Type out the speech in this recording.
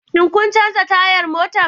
Shin kun canza tayar motar